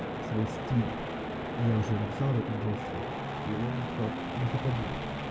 свой стиль я уже написал об этом джесси и он сказал можно подумать